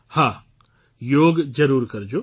હા યોગ જરૂર કરજો